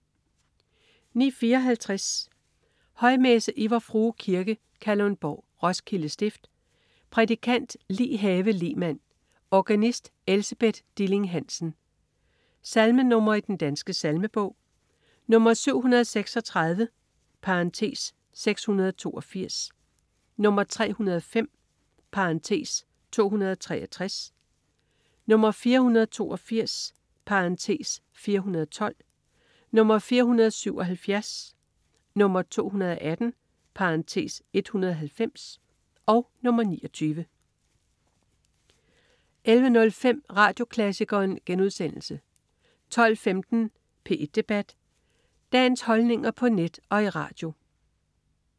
09.54 Højmesse. Fra Vor Frue Kirke, Kalundborg, Roskilde stift. Prædikant: Li Have Lehmann. Organist: Elsebeth Dilling-Hansen. Salmenr. i Den Danske Salmebog: 736 (682), 305 (263), 482 (412), 477, 218 (190), 29 11.05 Radioklassikeren* 12.15 P1 Debat. Dagens holdninger på net og i radio